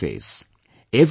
There is no interface